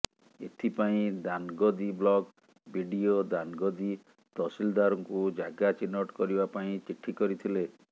ଏଥିପାଇଁ Danagadi block BDO Danagadi ତହସିଲ୍ଦାରଙ୍କୁ ଜାଗା ଚିହ୍ନଟ କରିବା ପାଇଁ ଚିଠି କରିଥିଲେ